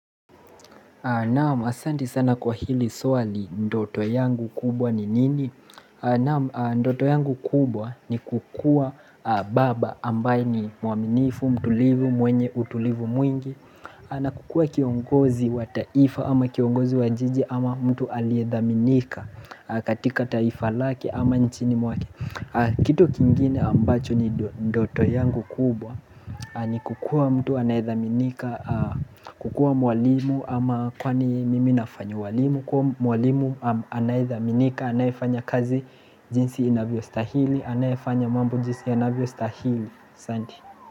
Naam asanti sana kwa hili swali ndoto yangu kubwa ni nini? Naam ndoto yangu kubwa ni kukua baba ambaye ni mwaminifu, mtulivu, mwenye utulivu mwingi na kukua kiongozi wa taifa ama kiongozi wa jiji ama mtu aliedhaminika katika taifa lake ama nchini mwake Kitu kingine ambacho ni ndoto yangu kubwa ni kukua mtu anayedhaminika kukua mwalimu ama kwani mimi nafanya uwalimu kwa mwalimu anayedhaminika anayefanya kazi jinsi inavyostahili anayefanya mambo jinsi yanavyostahili. Asante.